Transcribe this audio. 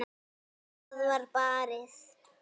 Það var barið.